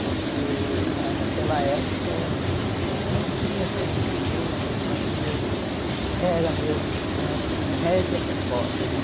Porque naquela época não tinha assim muito luxo, as famílias eram mesmo de classe média para pobre, né?